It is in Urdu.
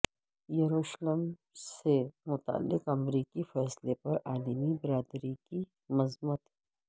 یروشلم سے متعلق امریکی فیصلے پر عالمی برادری کی مذمت